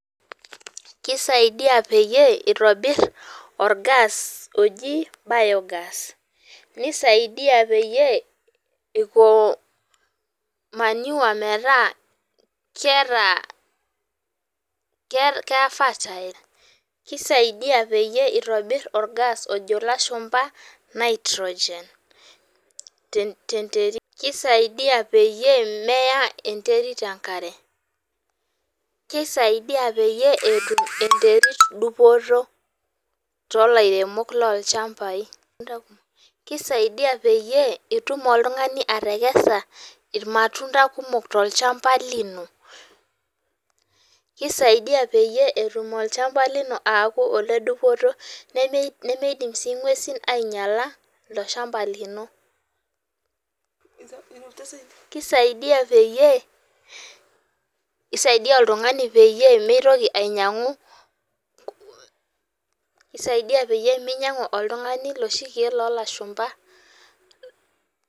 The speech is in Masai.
Keisaidia peyie itobir orgas oji biogas nisaidia peyie iko manure meta keeta ke fast keisaidia peyie itobir or gas lojo ilashumba nitrogen. Keisaidia peyie meya enterit enkare. Keisaidia peyie etum enterit dupoto too ilairemok loo lchambai. Kisaidia peyie itum iltung'ani atekesa ormatunda kumok tolchamba lino. Kisaidia peyie etum olchamba lino akuu ledupoto nemitoki nemeidim soi ing'uesin ainyala ilo shamba lino. Kisaidia peyie isaidia oltung'ani peyie mitoki ainyang'u kisaidia peyie minyang'u oltung'ani loshi keek loolashumba.